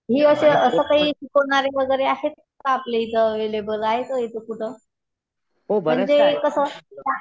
हे असं, असं काही शिकवणारे वगैरे असे आपल्या इथे अव्हेलेबल आहे का कुठे? पण ते कसं